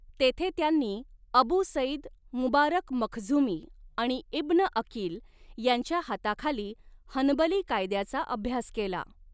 तेथे त्यांनी Abu Saeed Mubarak Makhzumi आणि इब्न अकील यांच्या हाताखाली हनबली कायद्याचा अभ्यास केला.